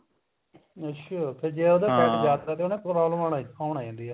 ਅੱਛਿਆ ਫ਼ੇਰ ਜੇ ਉਹਦਾ fat ਜਿਆਦਾ ਹੈ ਪ੍ਰੋਬੇਲਮ ਹੋਣ ਲੱਗ ਜਾਂਦੀ ਹੈ